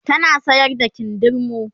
tana sayar da kindirmo